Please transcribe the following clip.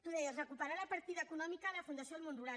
tu deies recuperar la partida econòmica a la fundació del món rural